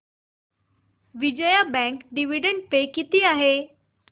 Vijaya bank dividend pay किती आहे